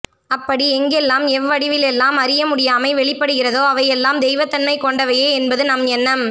அப்படி எங்கெல்லாம் எவ்வடிவிலெல்லாம் அறியமுடியாமை வெளிப்படுகிறதோ அவையெல்லாம் தெய்வத்தன்மை கொண்டவையே என்பது நம் எண்ணம்